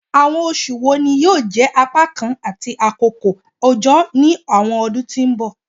Awọn oṣu wo ni yoo jẹ apakan ti akoko ojo ni awọn ọdun ti n bọ?